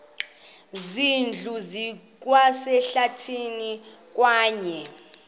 zindlu zikwasehlathini kwaye